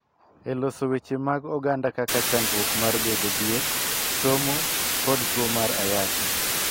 E loso weche mag oganda kaka chandruok mar bedo dhier, somo, kod tuo mar ayaki,